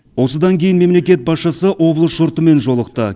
осыдан кейін мемлекет басшысы облыс жұртымен жолықты